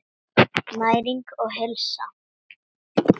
Næring og heilsa.